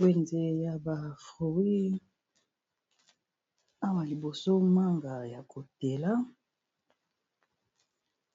Wenze ya ba fruit awa liboso manga ya kotela